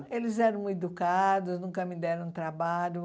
eles eram muito educados, nunca me deram trabalho.